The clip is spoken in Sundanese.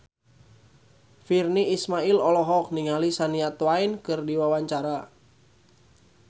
Virnie Ismail olohok ningali Shania Twain keur diwawancara